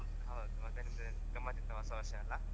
ಹೌದು ಮತ್ತೆ ನಿಮ್ದು ಗಮ್ಮತಿತ್ತ ಹೊಸ ವರ್ಷಾಯೆಲ್ಲ.